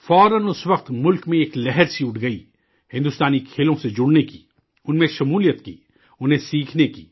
فوراً اس وقت ملک میں ایک لہر سی اٹھ گئی ہندوستانی کھیلوں سے جڑنے کی، ان میں مشغول ہونے کی، انہیں سیکھنے کی